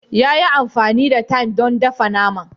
Ya yi amfani da thyme don dafa naman